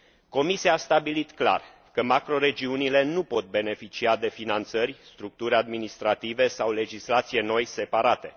Comisia a stabilit clar că macroregiunile nu pot beneficia de finanțări, structuri administrative sau legislație noi separate.